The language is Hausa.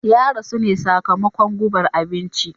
Ya rasu ne sakamakon gubar abinci.